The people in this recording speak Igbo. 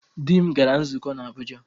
Di m gara nzukọ n'Abụja.